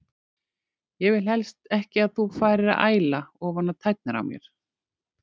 Ég vil helst ekki að þú farir að æla ofan á tærnar á mér.